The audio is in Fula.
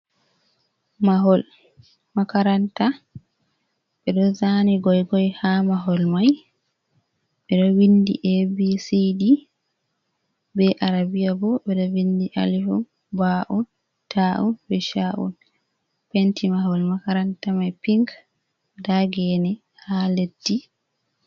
Mahol makaranta ɓeɗoo zani goigoi ha mahol mai, ɓeɗo vindi abcd be arabia bo ɓeɗo vindi alifun ba'un ta’un be sha’un, penti mahol makaranta mai pink nda gene ha leddi.